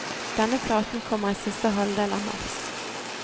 Denne platen kommer i siste halvdel av mars.